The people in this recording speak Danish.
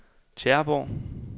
Tjæreborg